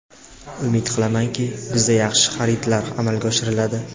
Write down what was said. Umid qilamanki, bizda yaxshi xaridlar amalga oshiriladi.